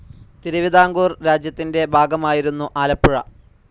തിരുവിതാംകൂർ രാജ്യത്തിന്റെ ഭാഗമായിരുന്നു ആലപ്പുഴ.